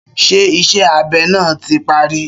Ṣé ìṣe abe náà tí parí?